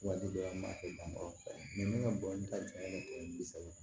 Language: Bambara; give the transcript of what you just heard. Waati dɔ la an b'a kɛ mankɔrɔni ka bɔli ka tɛmɛ saba